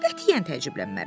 Qətiyyən təəccüblənmərəm.